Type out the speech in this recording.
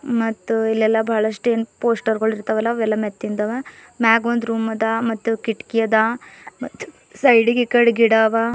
ಮತ್ತು ಇಲ್ಲೆಲ್ಲಾ ಬಹಳಷ್ಟು ಪೋಸ್ಟರ್ಗಳು ಇರ್ತವಲ ಅವೆಲ್ಲ ಮೆತ್ತಿಂದವ ಮ್ಯಾಗೊಂದು ರೂಮ್ ಅದ ಮತ್ತು ಕಿಟಕಿ ಅದ ಮತ್ತು ಸೈಡಿಗ್ ಈ ಕಡೆ ಗಿಡ ಅವ.